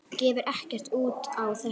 Gefur ekkert út á þetta.